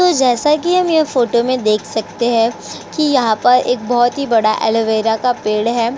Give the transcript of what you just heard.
तो जैसा कि हम यह फोटो में देख सकते हैं कि यहाँ पर एक बोहोत ही बड़ा एलोवेरा का पेड़ है।